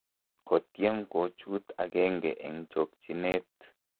kotyem kochuut agenge eng' chokchinet